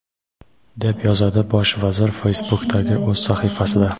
deb yozadi Bosh vazir Facebook’dagi o‘z sahifasida.